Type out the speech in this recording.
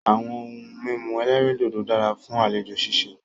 Àwọn ohun mímu ẹ̀lẹ́rìndodò dára fún àlejò ṣíṣe.